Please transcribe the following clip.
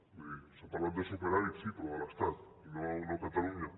vull dir s’ha parlat de superàvit sí però de l’estat no a catalunya